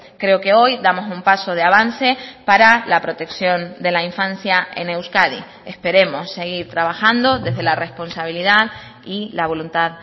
creo que hoy damos un paso de avance para la protección de la infancia en euskadi esperemos seguir trabajando desde la responsabilidad y la voluntad